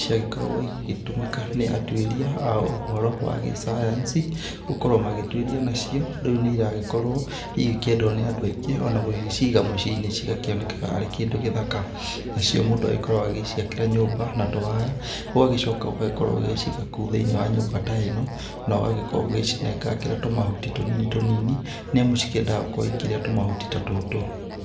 ciagĩkoragwo igĩtũmĩka nĩ atuĩria a ũhoro wa gĩsayansi gũkorwo magĩtuĩria nacio. Rĩu nĩiragĩkorwo igĩkĩendwo nĩ andũ aingĩ, ona gũgĩciga muciĩ-ini cigakĩonekaga arĩ kĩndũ gĩthaka. Nacio mũndũ agĩkoragwo agĩciakĩra nyũmba na tũwaya, ũgagĩcoka ũgagĩkorwo ũgĩgĩciga kũu thĩ-inĩ wa nyũmba ta ĩno, na ũgagĩkorwo ũgĩgĩcinengangĩra tũmahuti tũnini tũnini, nĩamu cikĩendaga gũkorwo cikĩrĩa tũmahuti ta tũtũ.